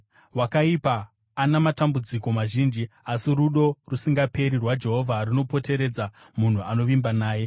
Wakaipa ana matambudziko mazhinji, asi rudo rusingaperi rwaJehovha runopoteredza munhu anovimba naye.